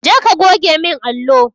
Je ka goge min allo!